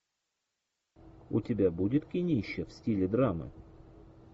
у тебя будет кинище в стиле драмы